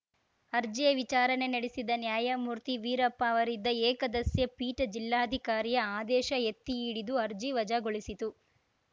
ಅರ್ಜಿಯ ವಿಚಾರಣೆ ನಡೆಸಿದ ನ್ಯಾಯಮೂರ್ತಿ ವೀರಪ್ಪ ಅವರಿದ್ದ ಏಕಸದಸ್ಯ ಪೀಠ ಜಿಲ್ಲಾಧಿಕಾರಿಯ ಆದೇಶ ಎತ್ತಿಹಿಡಿದು ಅರ್ಜಿ ವಜಾಗೊಳಿಸಿತು